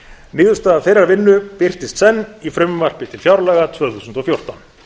niðurstaða þeirrar vinnu birtist senn í frumvarpi til fjárlaga tvö þúsund og fjórtán